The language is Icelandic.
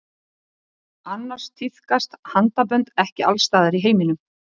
Annars tíðkast handabönd ekki alls staðar í heiminum.